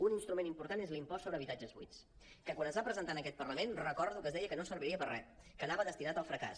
un instrument important és l’impost sobre habitatges buits que quan es va presentar en aquest parlament recordo que es deia que no serviria per re que anava destinat al fracàs